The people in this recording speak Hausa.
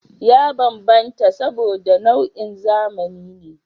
Ya bambanta saboda, nau'in zamani ne